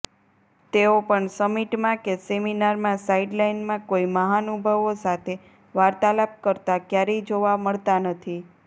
તેઓ પણ સમિટમાં કે સેમિનારમાં સાઇડલાઇનમાં કોઇ મહાનુભાવો સાથે વાર્તાલાપ કરતા ક્યારેય જોવા મળતા નથી